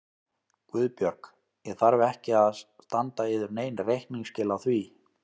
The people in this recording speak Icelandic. GUÐBJÖRG: Ég þarf ekki að standa yður nein reikningsskil á því.